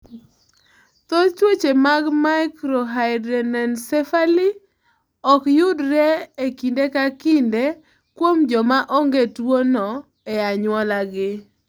Thoth tuoche mag microhydranencephaly ok yudre e kinde ka kinde kuom joma onge gi tuwono e anyuolagi.